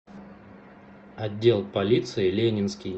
отдел полиции ленинский